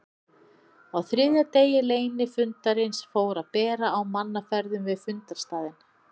Á þriðja degi leynifundarins fór að bera á mannaferðum við fundarstaðinn.